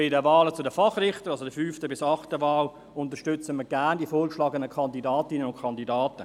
Bei den Wahlen der Fachrichter, also bei der fünften bis achten Wahl, unterstützen wir gerne die vorgeschlagenen Kandidatinnen und Kandidaten.